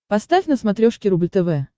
поставь на смотрешке рубль тв